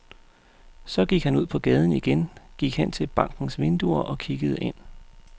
Så gik han ud på gaden igen, gik hen til bankens vinduer og kiggede ind.